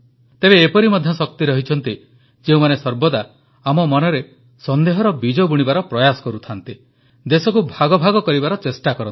ତେବେ ଏପରି ମଧ୍ୟ ଶକ୍ତି ରହିଛନ୍ତି ଯେଉଁମାନେ ସର୍ବଦା ଆମ ମନରେ ସନେ୍ଦହର ବୀଜ ବୁଣିବାର ପ୍ରୟାସ କରୁଥାନ୍ତି ଦେଶକୁ ଭାଗଭାଗ କରିବାର ଚେଷ୍ଟା କରନ୍ତି